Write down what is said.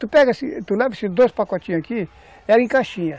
Tu pega assim, tu leva esses dois pacotinhos aqui, era em caixinha.